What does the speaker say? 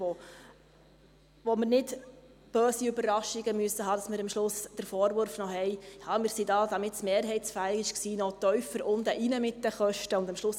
Wir müssen keine bösen Überraschungen befürchten und am Schluss noch den Vorwurf hören, wir hätten die Kosten tiefer gehalten, damit die Vorlage mehrheitsfähig sei und am Ende koste es dann doch mehr.